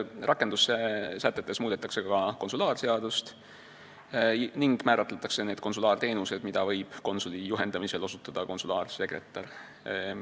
Rakendussätetes muudetakse ka konsulaarseadust ja määratletakse need konsulaarteenused, mida võib konsuli juhendamisel osutada konsulaarsekretär.